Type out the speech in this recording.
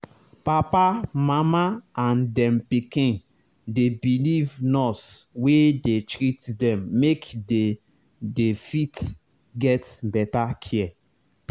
papa mama and dem pikin dey believe nurse wey dey treat them make they they fit get better care